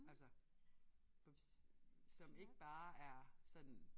Altså som ikke bare er sådan